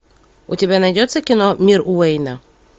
у тебя найдется кино мир уэйна